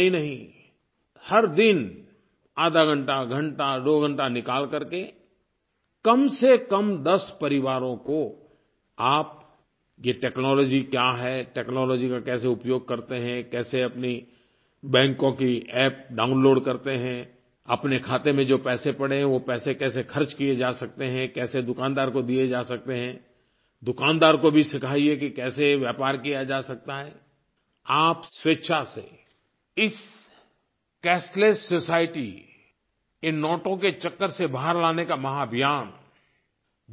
इतना ही नहीं हर दिन आधाघंटा घंटा दो घंटा निकाल करके कम से कम 10 परिवारों को आप ये टेक्नोलॉजी क्या है टेक्नोलॉजी का कैसे उपयोग करते हैं कैसे अपनी बैंकों की अप्प डाउनलोड करते हैं अपने खाते में जो पैसे पड़े हैं वो पैसे कैसे ख़र्च किए जा सकते हैं कैसे दुकानदार को दिए जा सकते हैं दुकानदार को भी सिखाइये कि कैसे व्यापार किया जा सकता है आप स्वेच्छा से इस कैशलेस सोसाइटी इन नोटों के चक्कर से बाहर लाने का महाभियान